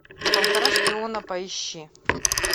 полтора шпиона поищи